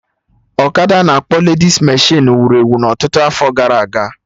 ọkada a na-akpọ ledis meshịn wuru ewu na ọtụtụ afọ gara aga